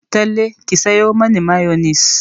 Talle ki sayo mani mayonis!